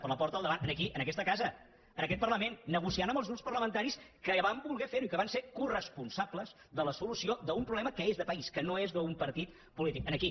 per la porta del davant en aquí en aquesta casa en aquest parlament negociant amb els grups parlamentaris que van voler fer ho i que van ser coresponsables de la solució d’un problema que és de país que no és d’un partit polític aquí